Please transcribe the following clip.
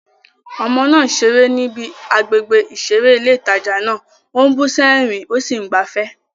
Ọmọ náà ń ṣeré níbi àgbègbè ìṣeré ilé ìtajà náà, ó ń bú sẹ́rìn-ín, ó sì ń gbafẹ́.